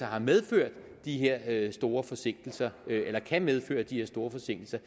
har medført de her her store forsinkelser eller kan medføre de her store forsinkelser